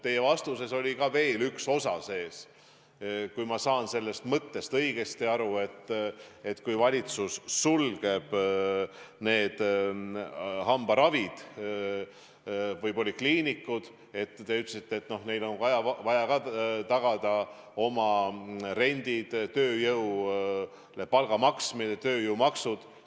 Teie küsimuses oli veel üks osa , et kui valitsus sulgeb hambaravikabinetid või -polikliinikud, siis neil on ikkagi vaja tagada rendimaksmine, tööjõule palga maksmine, tööjõumaksud.